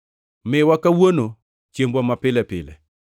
Miwa kawuono chiembwa mapile pile.